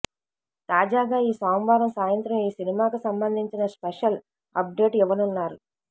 తాజాగా ఈ సోమవారం సాయంత్రం ఈ సినిమాకు సంబంధించిన స్పెషల్ అప్డేట్ ఇవ్వనున్నారు